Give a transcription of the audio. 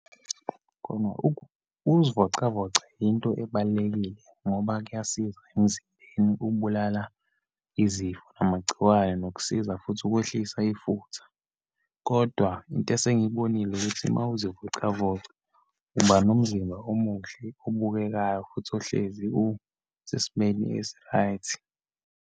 Khona ukuzivocavoca into ebalulekile, ngoba kuyasiza emzimbeni, ukubulala izifo, namagciwane, nokusiza futhi ukwehlisa ifutha. Kodwa into esengiyibonile ukuthi, uma uzivocavoca uba nomzimba omuhle, obukekayo, futhi ohlezi usesimeni esi-right.